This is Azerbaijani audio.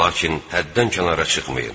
Lakin həddən kənara çıxmayın.